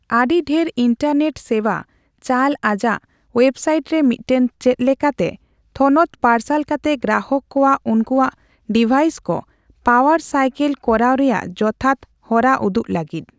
ᱟᱹᱰᱤᱰᱷᱮᱨ internet ᱥᱮᱵᱟ ᱪᱟᱞ ᱟᱡᱟᱜ ᱣᱮᱹᱵᱥᱟᱤᱴ ᱨᱮ ᱢᱤᱫᱴᱟᱝ 'ᱪᱮᱫ ᱞᱮᱠᱟ ᱛᱮ' ᱛᱷᱚᱱᱚᱛ ᱯᱟᱨᱥᱟᱞ ᱠᱟᱛᱮ ᱜᱨᱟᱦᱚᱠ ᱠᱚᱣᱟᱜ ᱩᱱᱠᱩᱣᱟᱜ ᱰᱤᱵᱷᱟᱭᱤᱥ ᱠᱚ ᱯᱟᱣᱟᱨ ᱥᱟᱭᱠᱮᱞ ᱠᱚᱨᱟᱣ ᱨᱮᱭᱟᱜ ᱡᱚᱛᱷᱟᱛ ᱦᱚᱨᱟ ᱩᱫᱩᱜ ᱞᱟᱹᱜᱤᱫ ᱾